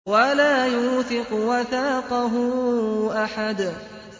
وَلَا يُوثِقُ وَثَاقَهُ أَحَدٌ